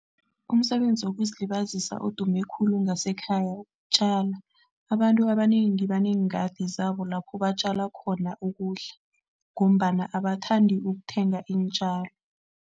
Umsebenzi wokuzilibazisa odume khulu ngasekhaya, ukutjala. Abantu abanengi baneengadi zabo lapho batjala khona ukudla ngombana abathandi ukuthenga iintjalo.